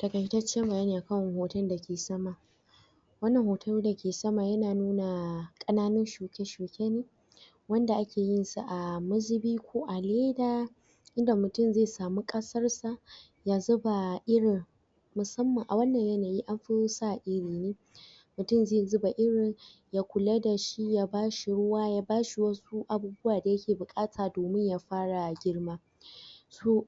takaitacen bayaniakan hoton da ke sama wannan hotn da ke sama yana nuna ana ?shuke shuke ne wanda ake yin sa a mazubi ko a leda ida mutum zai samu kasar sa ya zuba iri musamman a wannan yanayi a fa sa iri ne mutum zai zuba irin ya kula da shi ya bashi ruwa ya ba shi wasu abubuwa da ya ke bukata domin ya fara girma toh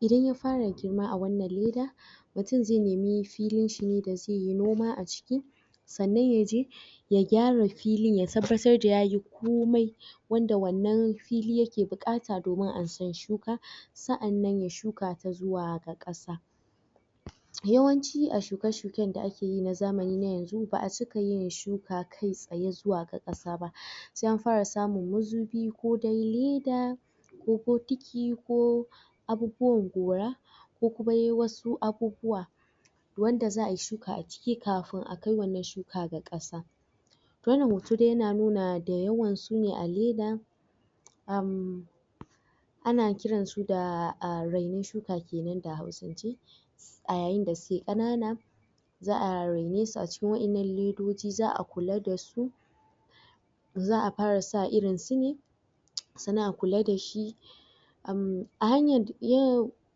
idan ya fara girma a wannan leda mutum zai nemi filin shi ne da zai yi noma a ciki sannan ya je ya gywara fili ya tabbatar da ya yi komai wanda wannan fili yake bukata domin ansan shuka sa'anan ya shuka ta ga kasa yawanci a shuke shuke da ake yi na zamani na yanzu ba'a cika yin shuka kai tsaye ga kasa ba za'a fara samun mazubi ko kuma leda ko bokiti ko abubuwan gora ko kuma dai wasu abubuwa wanda za'ayi shuka a ciki kafin a kai ga wannan kasa wannan hoto yana nuna da yawan su ne a leda um ana kiran su da rainan shuka kenan da hausance a yayin da suke kanana za'a raine su a cikin wayannan ledodi za'a kula da su za'a fara sairin su ne sannan a kula da shi um a hanya??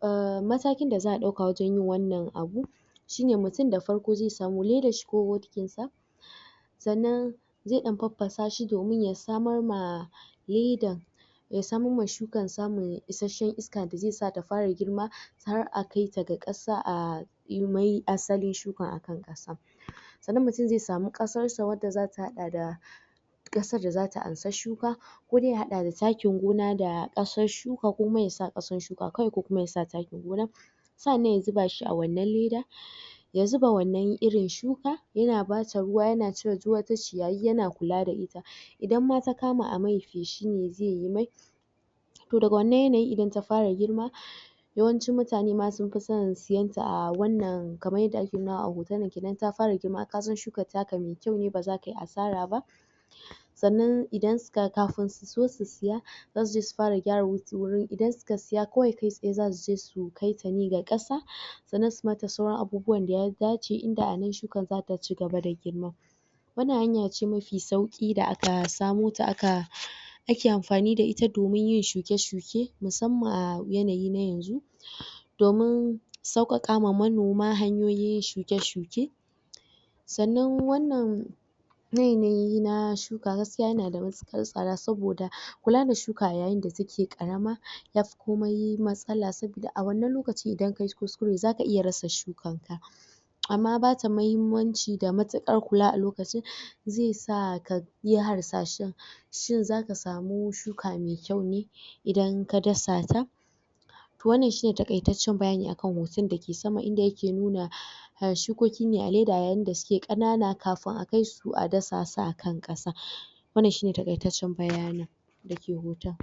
um matakin da za'a dauka wajen yin wannan abun shi ne mutum da farko zai samu ko ledan shi ko bokitin sa sannan zai dan pappasa shi domiin yasamar ma leda, ya samar ma shukan samun isashan iska da zai sata fara girma har a kai ta ga kasa a yi mai asalin shukan a kan kasan sannan mutum zai samu kasar sa da za ta hada da kasan da za ta ansan shukan ko dai ya hada da takin gona ko da kasar shuka ko ma ya sa kasan shuka kawai ko kuma ya sa takin gona sannan ya zuba shi a wannan ledan ya zuba wannan irin shuka yana bata ruwa ya na cire duk wata ciyayiyana kula da ita idan ma ta kama a yimai feshi shi ne zai yi toh daga wannan yanayi idan ta fara girma yawancin mutane ma sun fi son siyan ta a wannan kamar yadda ake nuna a hoto idan ta fara girma ka san shukan ta ka mai kyau ne kuma ba za ka yi asara ba sannan idan su ka kafin su so su siya za su je su fara gyara wuri idan su ka siya kawai kai tsaye su je su kai ta ne ga kasa sannan su yi mata sauran abubuwan da ya dace duk inda wannan shukan za ta ci gaba da girma wannan hanya ce mafi sauki da aka samo ta da aka ake amfani da ita domin yin shuke shuke musamman a yanayi na yanzu domin saukaka ma manoma hanyoyi shuke shuke sannan wannan? na shuka gaskiya ya na da matukar sada soboda kula da shuka yayin da take karama yafi komai matsala sobida a wannan lokaci idan ka yi kuskure za ka iya rasa shuki a ma ba ta muhimmanci da matukar kula a lokaci zai sa ka yi harsashen shin za ka samu shuka mai kyau ne idan ka dasa ta wannan shi ne takaitacen bayani akan hoton da ke sama ida yake nuna? shikoki ne a leda yayin da suke kanana kafin a kai su a dasa su a akan kasa wannan shi ne takaitacen bayani da ke hoton